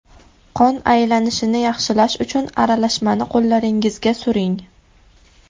Qon aylanishini yaxshilash uchun aralashmani qo‘llaringizga suring.